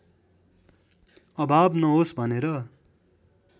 अभाव नहोस् भनेर